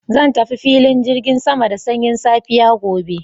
Zan tafi filin jirgin sama da sanyin safiya gobe.